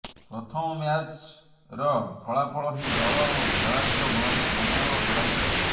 ପ୍ରଥମ ମ୍ୟାଚ୍ର ଫଳାଫଳ ହିଁ ଦଳ ଓ ଖେଳାଳିଙ୍କ ମନୋବଳ ବଢ଼ାଇଥାଏ